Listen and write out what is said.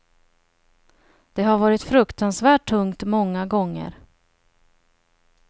Det har varit fruktansvärt tungt många gånger.